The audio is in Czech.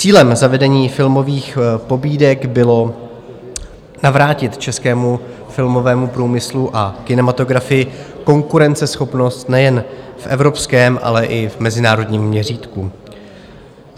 Cílem zavedení filmových pobídek bylo navrátit českému filmovému průmyslu a kinematografii konkurenceschopnost nejen v evropském, ale i v mezinárodním měřítku.